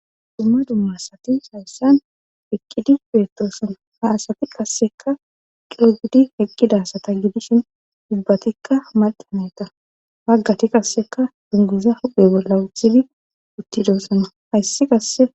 Dumma dumma asati hayssan heqqidi beettosana haasati qasseka coo gudi heqqida asata gidishin dubbatikka maldaneta waggati qasseka dunguza huphe bolla uthidi uttidoossana hayssi qasse.